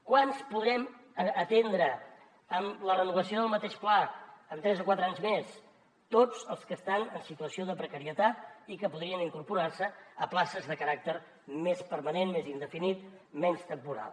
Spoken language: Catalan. quants en podrem atendre amb la renovació del mateix pla en tres o quatre anys més tots els que estan en situació de precarietat i que podrien incorporar se a places de caràcter més permanent més indefinit menys temporal